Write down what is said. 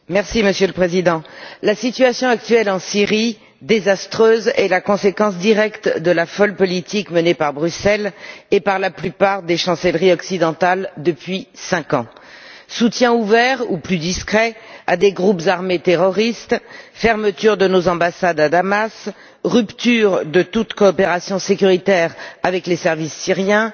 Monsieur le Président, la désastreuse situation actuelle en Syrie est la conséquence directe de la folle politique menée par Bruxelles et par la plupart des chancelleries occidentales depuis cinq ans. Soutien ouvert ou plus discret à des groupes armés terroristes, fermeture de nos ambassades à Damas, rupture de toutes les coopérations sécuritaires avec les services syriens,